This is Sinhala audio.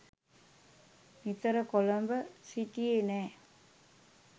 නිතර කොළඹ සිටියේ නැහැ.